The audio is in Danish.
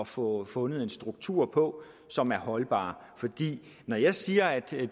få fundet en struktur på som er holdbar for når jeg siger at